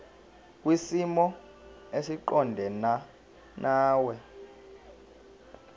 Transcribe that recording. kwisimo esiqondena nawe